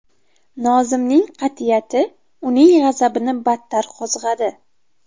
Nozimning qat’iyati uning g‘azabini battar qo‘zg‘adi.